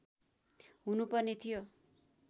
हुनु पर्ने थियो